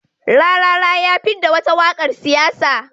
Rarara ya fidda wata waƙar siyasa.